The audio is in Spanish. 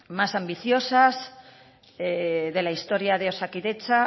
más ambiciosas de la historia de osakidetza